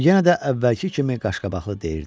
O yenə də əvvəlki kimi qaşqabaqlı deyirdi.